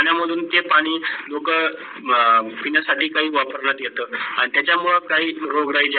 पाण्यामधून ते पाणी लोक पिण्यासाठी काही वापरण्यात येत आणी त्याचा मुडे काही रोग राई